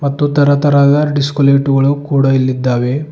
ಮತ್ತು ತರತರಹದ disco light ಗಳು ಕೂಡ ಇಲಿದ್ದಾವೆ.